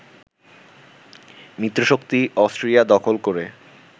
মিত্রশক্তি Austria দখল করে